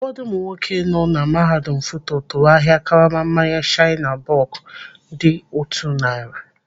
Ụfọdụ ụmụ nwoke nọ na mahadum FUTO tụrụ ahịa karama mmanya shiner bock dị otú narị.